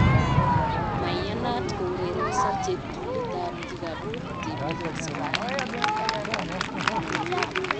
Maiyanat kourerenso cheptulit ab kikabut tibiik eng Somalia